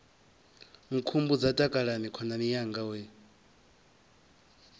nkhumbudza takalani khonani yanga we